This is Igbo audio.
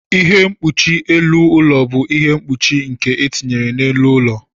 Ihe mkpuchi elu ụlọ bụ ihe mkpuchi nke etinyere n'elu ụlọ.